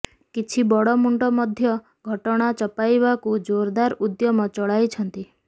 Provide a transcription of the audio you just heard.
କିଛି ବଡ଼ ମୁଣ୍ଡ ମଧ୍ୟ ଘଟଣା ଚପାଇବାକୁ ଜୋରଦାର ଉଦ୍ୟମ ଚଳାଇଛନ୍ତି